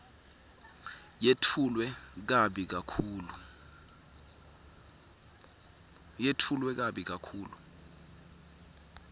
yetfulwe kabi kakhulu